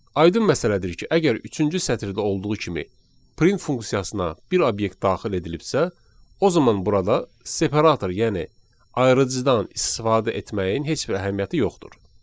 Aydın məsələdir ki, əgər üçüncü sətirdə olduğu kimi print funksiyasına bir obyekt daxil edilibsə, o zaman burada separator, yəni ayırıcıdan istifadə etməyin heç bir əhəmiyyəti yoxdur.